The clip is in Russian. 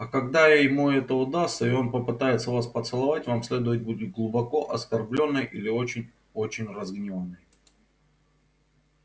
а когда ему это удастся и он попытается вас поцеловать вам следует быть глубоко оскорблённой или очень очень разгневанной